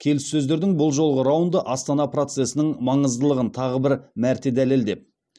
келіссөздердің бұл жолғы раунды астана процесінің маңыздылығын тағы бір мәрте дәлелдеп